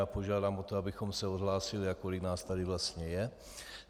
Já požádám o to, abychom se odhlásili, kolik nás tady vlastně je.